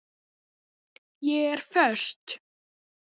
Ég er föst.